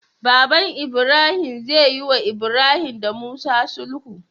Baban ibrahim zeyi wa ibrahim da musa sulhu